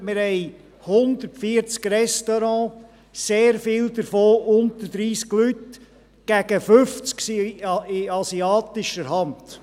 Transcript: Wir haben 140 Restaurants, sehr viele davon mit unter 30 Plätzen, und gegen 50 von diesen 140 Restaurants sind in asiatischer Hand.